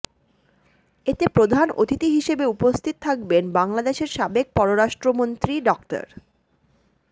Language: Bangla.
এতে প্রধান অতিথি হিসেবে উপস্থিত থাকবেন বাংলাদেশের সাবেক পররাষ্ট্রমন্ত্রী ডা